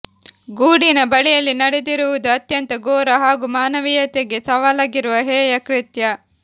ಗೂಡಿನಬಳಿಯಲ್ಲಿ ನಡೆದಿರುವುದು ಅತ್ಯಂತ ಘೋರ ಹಾಗೂ ಮಾನವೀಯತೆಗೆ ಸವಾಲಾಗಿರುವ ಹೇಯ ಕೃತ್ಯ